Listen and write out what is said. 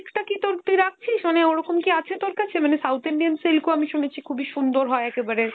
টা কী তোর, তুই রাখছিস? মানে ওরকম কী আছে তোর কাছে? মানে South Indian silk ও আমি শুনেছি খুবই সুন্দর হয় একেবারে